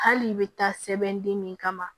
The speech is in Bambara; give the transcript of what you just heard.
Hali i bɛ taa sɛbɛn den min kama